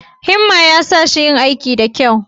Himma ya sa shi yin aikin da kyau